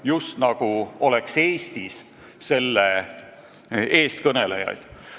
"– just nagu oleks Eestis selle eestkõnelejaid.